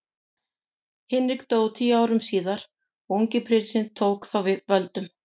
Hinrik dó tíu árum síðar og ungi prinsinn tók þá við völdum.